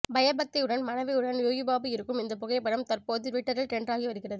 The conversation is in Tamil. பயபக்தியுடன் மனைவியுடன் யோகிபாபு இருக்கும் இந்த புகைப்படம் தற்போது டுவிட்டரில் டிரெண்ட் ஆகி வருகிறது